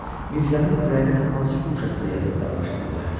Mirzənin ürəyinin hansı guşəsində yatıb qalmışdı bu bayatı?